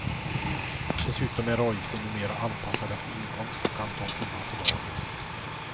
Dessutom är avgiften numera anpassad efter inkomst och antal timmar på dagis.